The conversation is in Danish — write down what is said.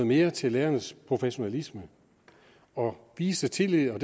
mere til lærernes professionalisme og vise tillid